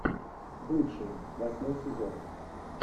бывшие восьмой сезон